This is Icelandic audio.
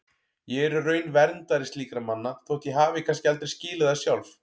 Ég er í raun verndari slíkra manna þótt ég hafi kannski aldrei skilið það sjálf.